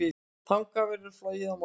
Þangað verður flogið í kvöld.